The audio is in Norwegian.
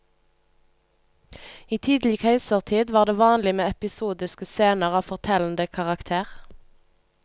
I tidlig keisertid var det vanlig med episodiske scener av fortellende karakter.